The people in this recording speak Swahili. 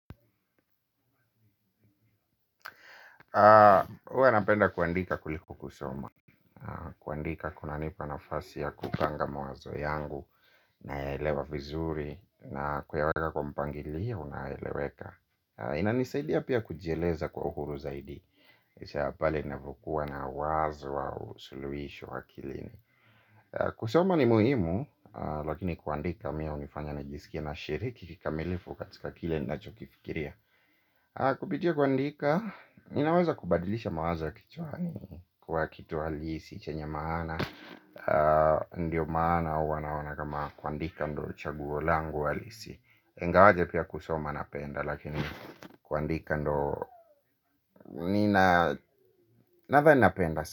Huwa napenda kuandika kuliko kusoma. Kuandika kunanipa nafasi ya kupanga mawazo yangu, naelewa vizuri, na kuyaweka kwa mpangilio unaeleweka. Inanisaidia pia kujieleza kwa uhuru zaidi. Kisha ya pale ninapokuwa na wazo au suluhisho akilini. Kusoma ni muhimu, lakini kuandika mie hunifanya najisikia nashiriki kikamilifu katika kile ninacho kifikiria. Kupitia kuandika, ninaweza kubadilisha mawazo ya kichwani kuwa kitu halisi chenye maana, ndio maana wanaona kama kuandika ndo chaguo langu halisi, ingawaje pia kusoma napenda lakini kuandika ndo nina, nadhani napenda.